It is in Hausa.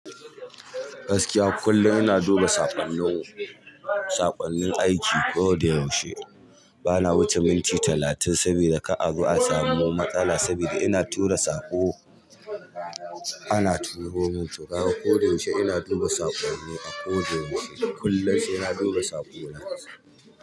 Gaskiya kullum ina duba saƙonnin saƙonnin aiki ko da yaushe. Bana wuce minti talatin sabida kar azo a samu matsala, sabida ina tura sako. Ana tuhumi shugaba ko da yaushe ina duba saƙonni a ko da yaushe. Kullum sai na duba saƙo na.